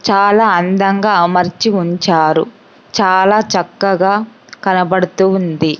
చాలా అందంగా అమర్చి ఉంచారు చాలా చక్కగా కనబడుతూ ఉంది.